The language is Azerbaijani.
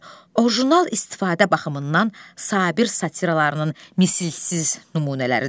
orijinal istifadə baxımından Sabir satıralarının misilsiz nümunələridir.